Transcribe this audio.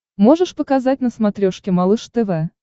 можешь показать на смотрешке малыш тв